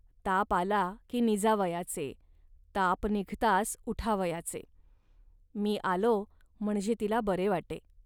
ताप आला की निजावयाचे, ताप निघताच उठावयाचे. मी आलो, म्हणजे तिला बरे वाटे